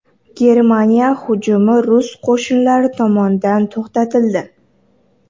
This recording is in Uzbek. Germaniya hujumi rus qo‘shinlari tomonidan to‘xtatildi.